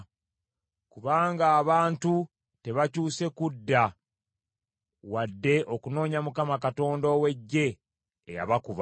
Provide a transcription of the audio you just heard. Kubanga abantu tebakyuse kudda wadde okunoonya Mukama Katonda ow’Eggye eyabakuba.